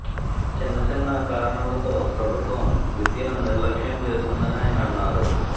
చిన్న చిన్న కారణాలతో ప్రభుత్వం విద్యను నిర్లక్ష్యం చేస్తోందని ఆయన అన్నారు